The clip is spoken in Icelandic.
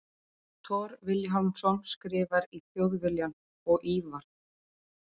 Thor Vilhjálmsson skrifar í Þjóðviljann og Ívar